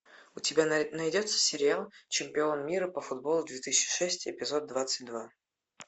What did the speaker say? у тебя найдется сериал чемпион мира по футболу две тысячи шесть эпизод двадцать два